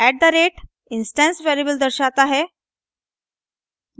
@ instance variable दर्शाते है